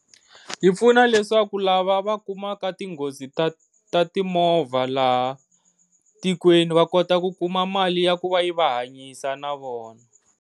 Yi pfuna leswaku lava va kumaka tinghozi ta ta timovha laha tikweni va kota ku kuma mali ya ku va yi va hanyisa na vona.